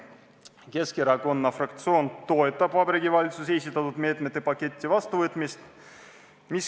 Keskerakonna fraktsioon toetab Vabariigi Valitsuse esitatud meetmete paketi vastuvõtmist.